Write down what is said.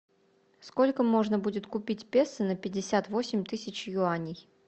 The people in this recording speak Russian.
сколько можно будет купить песо на пятьдесят восемь тысяч юаней